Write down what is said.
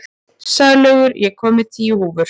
Sælaugur, ég kom með tíu húfur!